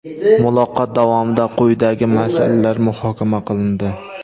Muloqot davomida quyidagi masalalar muhokama qilindi:.